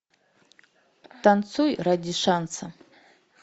танцуй ради шанса